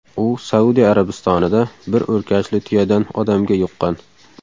U Saudiya Arabistonida bir o‘rkachli tuyadan odamga yuqqan.